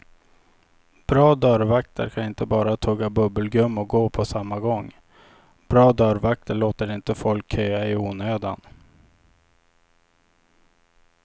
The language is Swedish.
Bra dörrvakter kan inte bara tugga bubbelgum och gå på samma gång, bra dörrvakter låter inte folk köa i onödan.